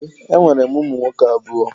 Ee, enwere m ụmụ nwoke abụọ